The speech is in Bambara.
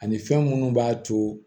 Ani fɛn minnu b'a to